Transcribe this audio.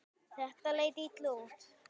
Þetta leit illa út.